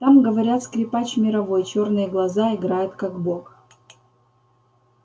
там говорят скрипач мировой чёрные глаза играет как бог